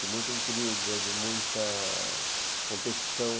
de muita intriga, de muita competição.